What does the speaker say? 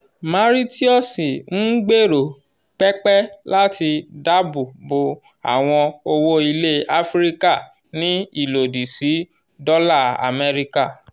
mauritius n gbero pẹpẹ lati dabo bo awọn owo ilẹ afirika ni ilodi si dola amẹrika